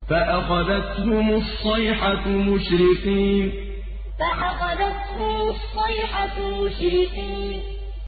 فَأَخَذَتْهُمُ الصَّيْحَةُ مُشْرِقِينَ فَأَخَذَتْهُمُ الصَّيْحَةُ مُشْرِقِينَ